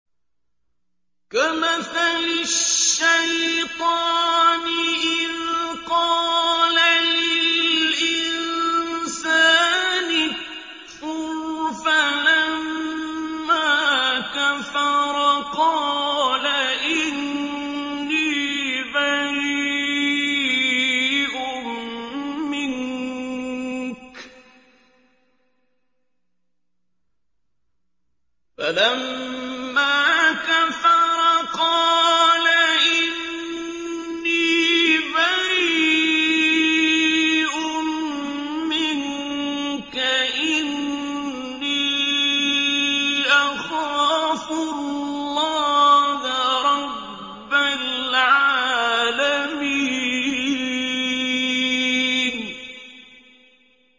كَمَثَلِ الشَّيْطَانِ إِذْ قَالَ لِلْإِنسَانِ اكْفُرْ فَلَمَّا كَفَرَ قَالَ إِنِّي بَرِيءٌ مِّنكَ إِنِّي أَخَافُ اللَّهَ رَبَّ الْعَالَمِينَ